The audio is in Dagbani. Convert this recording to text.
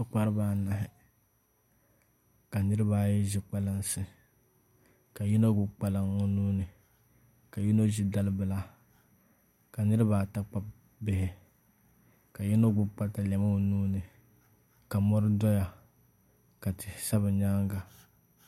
Paɣaba anahi ka niraba ayi ʒi kpalansi ka yino gbubi kpalaŋ o nuuni ka yino ʒi dalibila ka niraba ata kpabi bihi ka yino gbubi katalɛm o nuuni ka mori doya ka tihi sa bi nyaanga